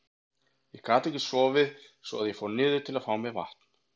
Ég gat ekki sofið svo að ég fór niður til að fá mér vatn.